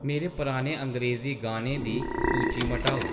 मेरे पुराने अंग्रेज़ी गानें दी सूची मटाओ